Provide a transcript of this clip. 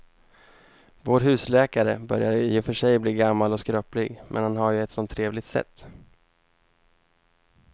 Vår husläkare börjar i och för sig bli gammal och skröplig, men han har ju ett sådant trevligt sätt!